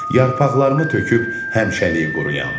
Yarpaqlarımı töküb həmişəliyi quruyam.